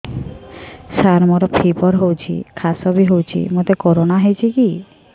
ସାର ମୋର ଫିବର ହଉଚି ଖାସ ବି ହଉଚି ମୋତେ କରୋନା ହେଇଚି କି